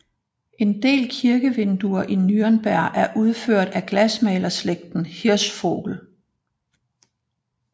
En del kirkevinduer i Nürnberg er udført af glasmalerslægten Hirschvogel